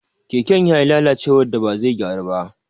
Keken ya yi lalacewar da ba zai gyaru ba.